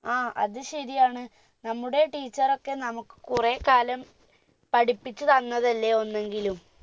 ആ അത് ശരിയാണ് നമ്മുടെ teacher ഒക്കെ നമുക്ക് കുറേകാലം പഠിപ്പിച്ച് തന്നതല്ലേ ഒന്നെങ്കിലും